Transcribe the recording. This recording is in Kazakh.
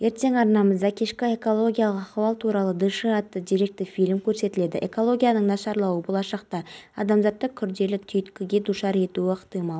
естеріңізге сала кететін болсақ жылдың мамырында алматының ботаникалық бағында жазғы кинотеатрдың ашылуы болған еді онда алғашқы болып отандық қазақша бизнес фильмі